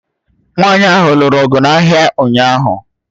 Nwanyị ahụ lụrụ ọgụ n'ahịa ụnyahụ